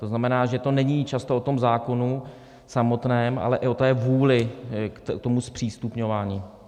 To znamená, že to není často o tom zákonu samotném, ale i o té vůli k tomu zpřístupňování.